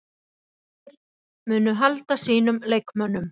Berserkir: Munu halda sínum leikmönnum.